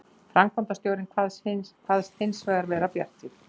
Framkvæmdastjórinn kvaðst hins vegar vera bjartsýnn